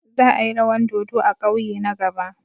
Za a yi rawan dodo a kauye na gaba.